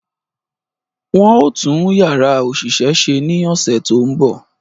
Wọ́n ó tún Yàrá òṣìṣẹ́ ṣe ní ọ̀sẹ̀ tó ń bọ̀